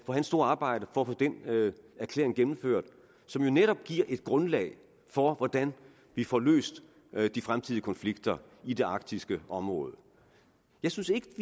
for hans store arbejde for at få den erklæring gennemført som jo netop giver et grundlag for hvordan vi får løst de fremtidige konflikter i det arktiske område jeg synes ikke